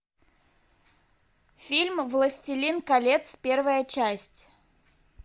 фильм властелин колец первая часть